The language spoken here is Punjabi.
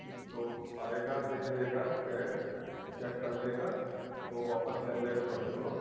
ਤੇ ਉਹ ਆਇਗਾ ਦੇਖ ਲੇਗਾ tag check ਕਰ ਲਵੇਗਾ ਤੇ ਉਹ ਵਾਪਿਸ ਜਾਵੇਗਾ ਤੁਹਾਡੇ ਕੋਲੋਂ